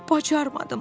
Bacarmadım.